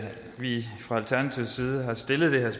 vi fra alternativets side har stillet den her